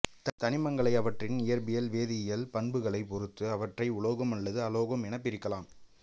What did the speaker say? தனிமங்களை அவற்றின் இயற்பியல் வேதியியல் பண்புகளைப் பொறுத்து அவற்றை உலோகம் அல்லது அலோகம் எனப்பிரிக்கலாம்